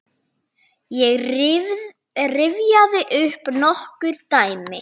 Ég rifjaði upp nokkur dæmi.